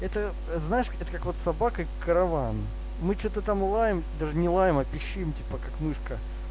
это знаешь это как вот собака и караван мы что то там лаем даже не лаем а пищим типа как мышка